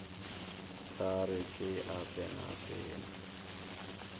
sa re ke a penapena